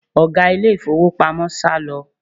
Ọ̀gá ilé ìfowópamọ́ sálọ